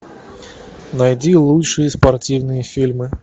найди лучшие спортивные фильмы